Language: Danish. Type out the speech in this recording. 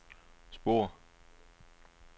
spor